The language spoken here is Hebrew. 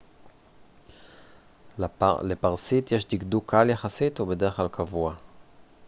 לפרסית יש דקדוק קל יחסית ובדרך כלל קבוע